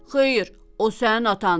“Xeyr, o sənin atandır.